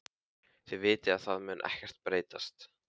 Þið vitið að það mun ekkert breytast.